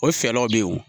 O fɛlaw be ye o